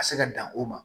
Ka se ka dan o ma